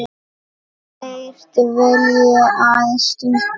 þeirra dvelji aðeins stutt þar.